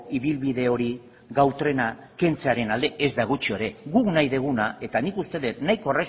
ibilbide hori gau trena kentzearen alde ezta gutxi ere guk nahi deguna eta nik uste det nahiko